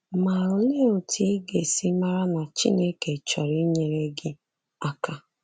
Ma olee otu ị ga-esi mara na Chineke chọrọ inyere gị aka?